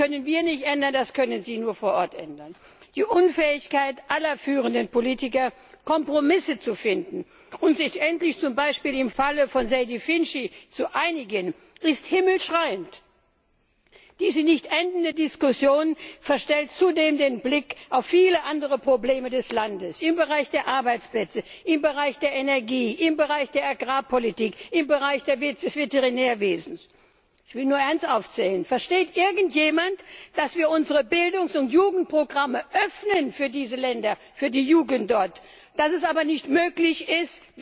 Das können wir nicht ändern, das können sie nur vor Ort ändern. Die Unfähigkeit aller führenden Politiker, Kompromisse zu finden, um sich endlich z. B. im Falle von Sejdić und Finci zu einigen, ist himmelschreiend! Diese nicht endende Diskussion verstellt zudem den Blick auf viele andere Probleme des Landes im Bereich der Arbeitsplätze, im Bereich der Energie, im Bereich der Agrarpolitik, im Bereich des Veterinärwesens. Ich will nur eines ansprechen Versteht irgendjemand, dass wir unsere Bildungs und Jugendprogramme öffnen für diese Länder, für die Jugend dort, dass es aber nicht möglich